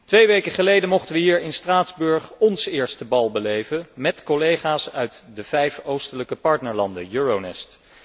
Twee weken geleden mochten we hier in Straatsburg óns eerste bal beleven met collega's uit de vijf oostelijke partnerlanden Euronest.